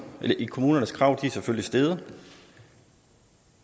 kommunernes krav er selvfølgelig steget